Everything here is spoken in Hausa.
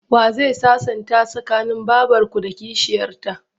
Wa zai sasanta tsakanin babarku da kishiyarta?